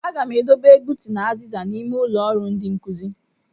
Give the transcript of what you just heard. Agam e dobe egbutu na aziza ahụ n'ime ụlọ ọrụ ndi nkuzi.